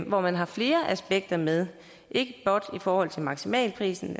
hvor man har flere aspekter med ikke blot i forhold til maksimalprisen